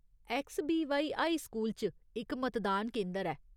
ऐक्सबीवाई high school च इक मतदान केंदर ऐ।